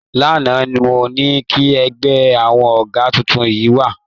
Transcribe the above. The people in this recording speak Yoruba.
Lánàá mo ní kí ẹ gbé àwọn àga tuntun yẹn wá